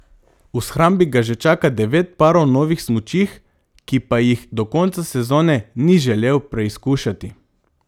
V shrambi ga že čaka devet parov novih smučih, ki pa jih do konca sezone ni želel preizkušati.